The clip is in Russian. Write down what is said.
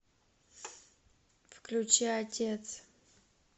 включи отец